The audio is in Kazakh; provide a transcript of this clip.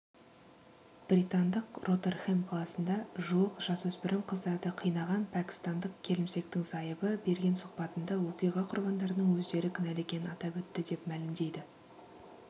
британдық ротерхэм қаласында жуық жасөспірім қыздарды қинаған пәкістандық келімсектің зайыбы берген сұхбатында оқиға құрбандарының өздері кінәлі екенін атап өтті деп мәлімдейді